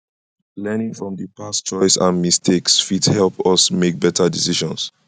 learning from di past choices and mistakes fit help us make better decisions